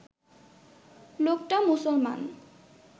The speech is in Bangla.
লোকটা মুসলমান